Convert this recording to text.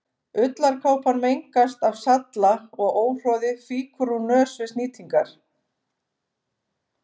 Ullarkápan mengast af salla og óhroði fýkur úr nös við snýtingar.